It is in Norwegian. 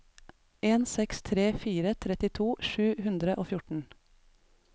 en seks tre fire trettito sju hundre og fjorten